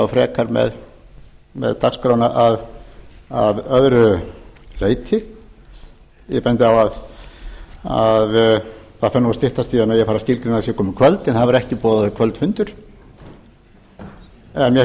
frekar með dagskrána að öðru leyti ég bendi á að það fer að styttast í að það megi skilgreina að það sé komið kvöld en það hefur ekki verið boðaður kvöldfundur en mér